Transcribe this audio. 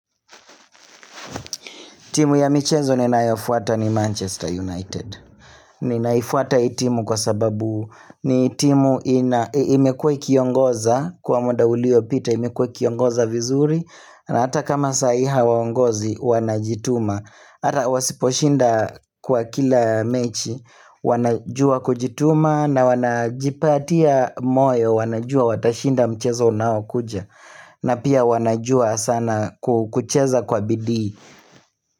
Timu ya michezo ni naifuata ni Manchester United. Ni naifuata hii timu kwa sababu ni timu imekua kiongoza kwa munda ulio pita imekue kiongoza vizuri na hata kama sai hawa ongozi wanajituma. Ata wasiposhinda kwa kila mechi wanajua kujituma na wanajipatia moyo wanajua watashinda mchezo unaao kuja na pia wanajua sana kucheza kwa bidii.